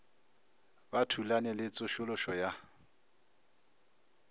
ba thulane le tsošološo ya